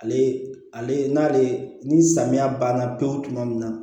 Ale ale n'ale ni samiya banna pewu tuma min na